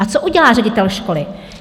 A co udělá ředitel školy?